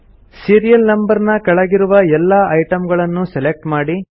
serial number ನ ಕೆಳಗಿರುವ ಎಲ್ಲಾ ಐಟಮ್ ಗಳನ್ನೂ ಸೆಲೆಕ್ಟ್ ಮಾಡಿ